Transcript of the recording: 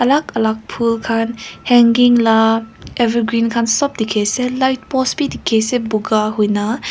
alag alag phool khan hanging la evergreen khan sab light post bhi dekhe se boga hoi na.